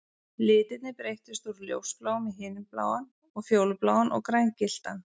Litirnir breyttust úr ljósbláum í himinbláan og fjólubláan og grængylltan